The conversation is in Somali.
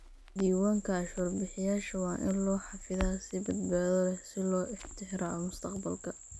Diiwaanka cashuur bixiyayaasha waa in loo xafidaa si badbaado leh si loo tixraaco mustaqbalka.